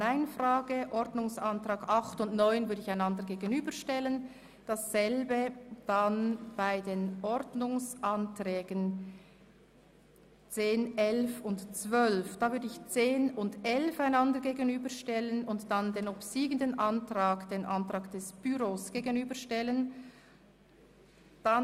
Die Anträge 8 und 9 stellen wir einander gegenüber und ebenso die Anträge 10 und 11, wobei hier der obsiegende dann dem Antrag 12 gegenübergestellt wird.